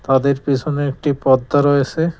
তাদের পেছনে একটি পর্দা রয়েসে।